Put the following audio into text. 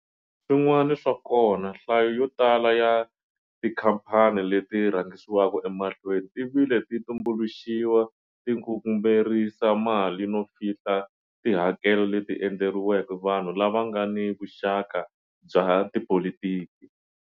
Swin'wana swa kona, nhlayo yotala ya tikhaphani leti rhangisiwaka emahlweni ti vile ti tumbuluxiwa ti ngungumerisa mali no fihla tihakelo leti endleriweke vanhu lava nga ni vuxaka bya tipolitiki.